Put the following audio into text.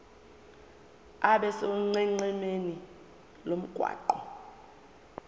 abe sonqenqemeni lomgwaqo